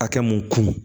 Hakɛ mun kun